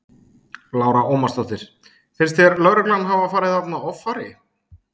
Lára Ómarsdóttir: Finnst þér lögreglan hafa farið þarna offari?